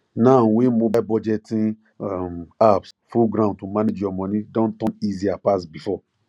now wey mobile budgeting um apps full ground to manage your money don turn easier pass before